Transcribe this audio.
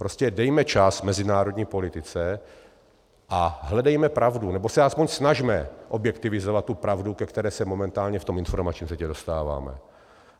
Prostě dejme čas mezinárodní politice a hledejme pravdu, nebo se aspoň snažme objektivizovat tu pravdu, ke které se momentálně v tom informačním světě dostáváme.